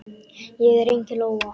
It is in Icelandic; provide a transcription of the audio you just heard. Ég er engin lóa.